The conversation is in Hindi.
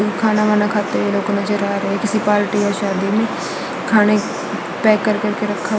खाना वाना खाते लोग नजर आ रहे हैं किसी पार्टी व शादी में खाने पैक कर करके रखा--